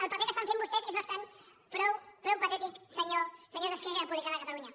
el paper que estan fent vostès és bastant prou patètic senyors d’esquerra republicana de catalunya